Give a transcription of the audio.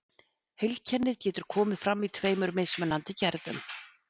Heilkennið getur komið fram í tveimur mismunandi gerðum.